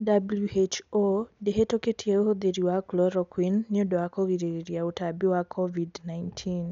WHO ndihitukitie uhuthiri wa chloroquine niũndũ wa kũgiririria ũtambi wa covid-19."